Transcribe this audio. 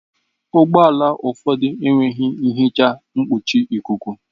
Ụgbọ ala ụfọdụ enweghị nhicha mkpuchi ikuku.